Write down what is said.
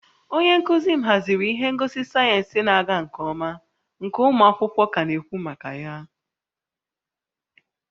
Onye nkuzi m haziri ihe ngosi sayensị na-aga nke ọma nke ụmụ akwụkwọ ka na-ekwu maka ya